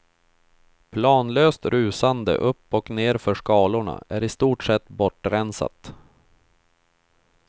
Planlöst rusande upp och nerför skalorna är i stort sett bortrensat.